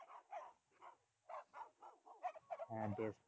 হ্যাঁ বেশ।